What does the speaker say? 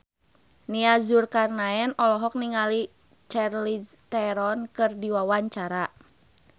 Nia Zulkarnaen olohok ningali Charlize Theron keur diwawancara